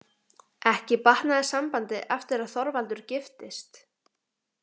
Ekki batnaði sambandið eftir að Þorvaldur giftist.